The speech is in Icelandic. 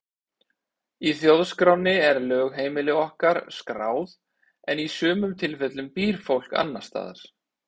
Í þjóðskránni er lögheimili okkar skráð en í sumum tilfellum býr fólk annars staðar.